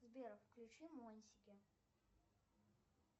сбер включи монсики